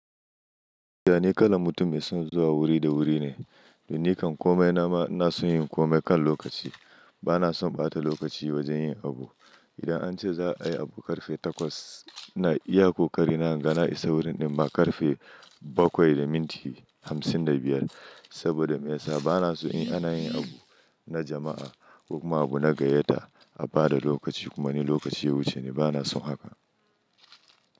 Dani kalan mutum mai son zuwa wuri da wuri ne. Da nikan kome na ma ina son yin kome kan lokaci. Bana son ɓata lokaci wajen yin abu. Idan an ce za a yi abu ƙarfe takwas, ina iya ko karina in ga na isa wurin ɗin ma ƙarfe bakwai da minti hamsin da biyar. Saboda me yasa bana son yin in ana yin abu na jama'a ko ma abu na gayyata a bada lokaci kuma ni lokaci ya wuce ni bana son haka.